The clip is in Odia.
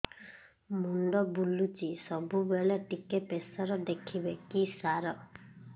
ମୁଣ୍ଡ ବୁଲୁଚି ସବୁବେଳେ ଟିକେ ପ୍ରେସର ଦେଖିବେ କି ସାର